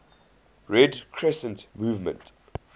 red crescent movement